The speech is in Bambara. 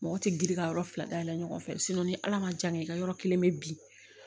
Mɔgɔ tɛ girin ka yɔrɔ fila dayɛlɛ ɲɔgɔn fɛ ni ala ma jan kɛ i ka yɔrɔ kelen bɛ bi